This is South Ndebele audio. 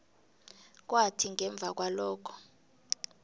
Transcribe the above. kwathi ngemva kwalokho